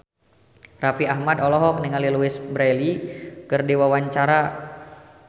Raffi Ahmad olohok ningali Louise Brealey keur diwawancara